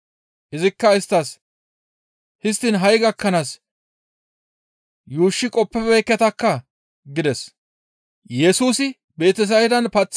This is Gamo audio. Izikka isttas, «Histtiin ha7i gakkanaas yuushshi qoppibeekketakkaa!» gides.